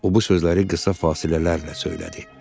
O bu sözləri qısa fasilələrlə söylədi.